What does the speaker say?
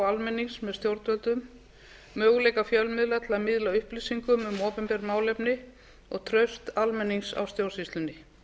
almennings með stjórnvöldum möguleika fjölmiðla með því að miðla upplýsingum um opinber málefni og traust almennings á stjórnsýslunni